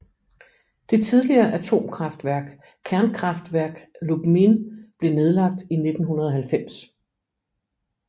Det tidligere atomkraftværk Kernkraftwerk Lubmin blev nedlagt i 1990